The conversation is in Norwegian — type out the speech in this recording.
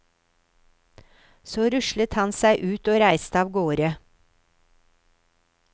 Så rustet han seg ut og reiste av gårde.